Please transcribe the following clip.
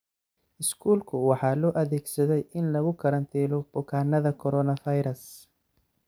Iskuulka waxaa loo adeegsaday in lagu karantiilo bukaanada coronavirus.